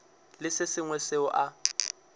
le se sengwe seo a